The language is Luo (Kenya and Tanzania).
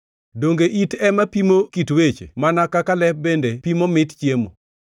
Donge it ema pimo kit weche mana kaka lep bende pimo mit chiemo?